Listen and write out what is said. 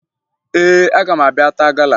Ee, aga m abịa taa gala